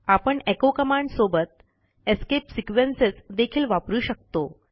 आपण echo command सोबत escape sequences देखील वापरू शकतो